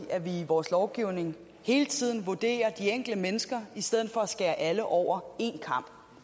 at vi i vores lovgivning hele tiden vurderer de enkelte mennesker i stedet for at skære alle over én kam